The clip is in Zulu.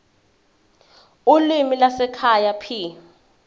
ulimi lwasekhaya p